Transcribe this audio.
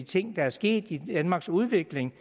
ting der er sket i danmarks udvikling